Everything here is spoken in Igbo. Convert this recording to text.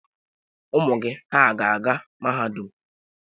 Ụmụ gị hà ga-aga mahadum?